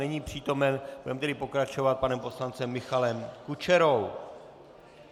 Není přítomen, budeme tedy pokračovat panem poslancem Michalem Kučerou.